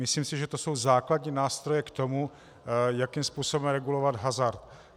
Myslím si, že to jsou základní nástroje k tomu, jakým způsobem regulovat hazard.